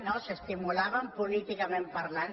no s’es·timulaven políticament parlant